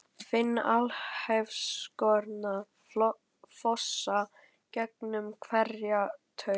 Finn alheimsorkuna fossa gegnum hverja taug.